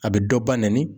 A bɛ dɔ ba nɛni